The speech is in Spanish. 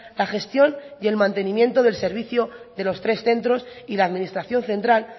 la gestión y el mantenimiento del servicio de los tres centros y la administración central